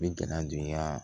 N bɛ gɛlɛya don n ka